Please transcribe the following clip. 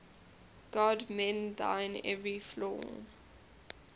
god mend thine every flaw